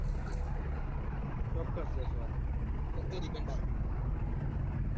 ચોક્કસ જસવંત okay દીપેન ભાઈ